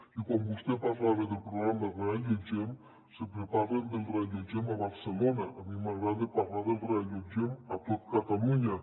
i quan vostè parlava del programa reallotgem sempre parlen del reallotgem a barcelona a mi m’agrada parlar del reallotgem a tot catalunya